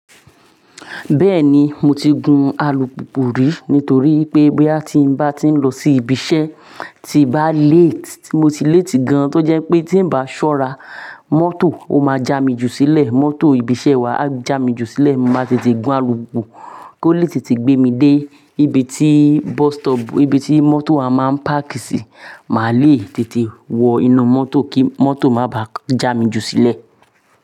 Bẹ́ẹ̀ni, mo ti gun alùpùpù rí nítorí wípé bóyá ti ń bá ti ń lọ sí ibi iṣẹ́, tí bá lẹ́ẹ̀tì, mo ti lẹ́ẹ̀tì gan-an, tó jẹ́ pé tí ń bá ṣọ́ra, mọ́tò ó máa ja mi jù sílẹ̀. Mọ́tò ibi iṣẹ́ wa á jà mí jù sílẹ̀. Mo máa tètè gun alùpùpù kó lè tètè gbé mi dé ibi tí bus stop, ibi tí mọ́tò wa máa ń páàkì sí. Màá le tètè wọ inú mọ́tò kí mọ́tò má bá jà mí jù sílẹ̀.